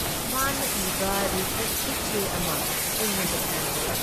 ꯃꯥꯅ ꯏꯕ ꯔꯤꯁꯥꯔꯆꯀꯤ ꯆꯦ ꯑꯃ ꯑꯩꯉꯣꯟꯗ ꯄꯤꯔꯛꯏ ꯫